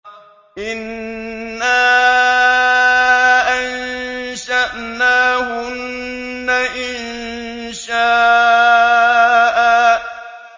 إِنَّا أَنشَأْنَاهُنَّ إِنشَاءً